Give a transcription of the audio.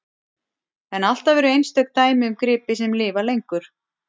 En alltaf eru einstök dæmi um gripi sem lifa lengur.